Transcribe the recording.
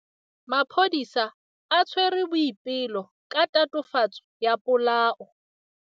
Maphodisa a tshwere Boipelo ka tatofatsô ya polaô.